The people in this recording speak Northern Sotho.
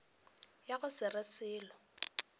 ya go se re selo